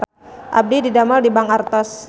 Abdi didamel di Bank Artos